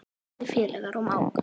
Góðir félagar og mágar.